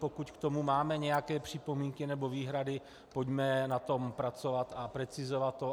Pokud k tomu máme nějaké připomínky nebo výhrady, pojďme na tom pracovat a precizovat to.